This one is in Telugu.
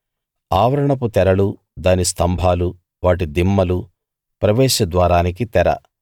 ఆవరణపు తెరలు దాని స్తంభాలు వాటి దిమ్మలు ప్రవేశ ద్వారానికి తెర